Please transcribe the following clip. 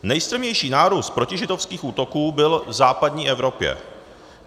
Nejstrmější nárůst protižidovských útoků byl v západní Evropě.